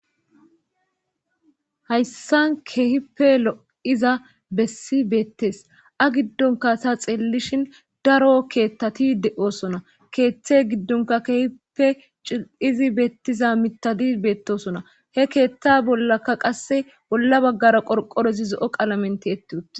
hayssan kehipe lo7iza bessi beettes a giddonka sa xellishin daro keethtati de7osona keeththe giddonka kehipe cil7izi beettiza mitadi beettosona he keethta bollaka qasse bolla baggara qorqorezi zo7o qalamenti yetti uttes